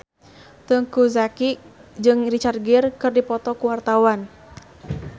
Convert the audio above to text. Teuku Zacky jeung Richard Gere keur dipoto ku wartawan